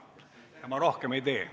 Ja ma rohkem ei tee.